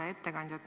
Hea ettekandja!